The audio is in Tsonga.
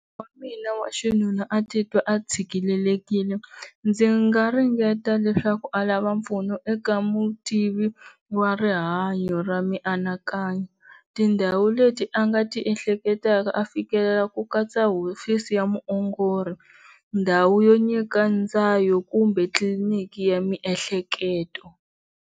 Munghana wa mina wa xinuna a titwa a tshikelelekile ndzi nga ringeta leswaku a lava mpfuno eka mutivi wa rihanyo ra mianakanyo tindhawu leti a nga tiehleketaka a fikelela ku katsa hofisi ya muongori ndhawu yo nyika ndzayo kumbe tliliniki ya miehleketo.